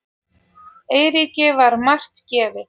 Eiríki var margt gefið.